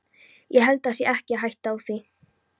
Ég held það sé ekki hætta á því.